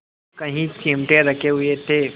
कई चिमटे रखे हुए थे